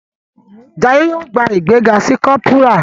Jaiye yóò gbà ìgbéga sí Corporal.